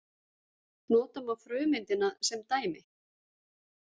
Nota má frumeindina sem dæmi.